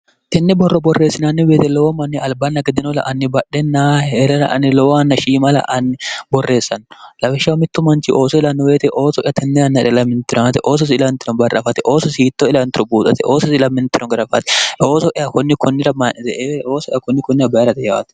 tinni borro borreessinaanni beete lowo manni albaanna geddinola anni badhenna heerera ani lowo anna shiimala ani borreessanno labishsha mittu manchi ooso ilannoweete ooso'ya tnnnnrelaminironate oososi ilanno barrafate ooso siitto ilantiro buuxate oososi ilaminteno garafaate ooso'ya kunni kunnira mayi'nete eeoosoya kunni kunnira bayi'rate yaate